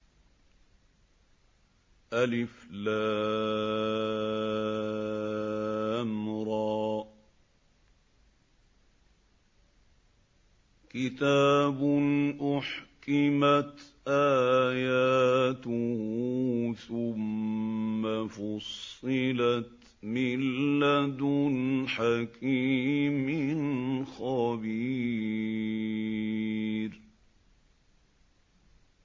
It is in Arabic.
الر ۚ كِتَابٌ أُحْكِمَتْ آيَاتُهُ ثُمَّ فُصِّلَتْ مِن لَّدُنْ حَكِيمٍ خَبِيرٍ